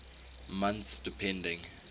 months depending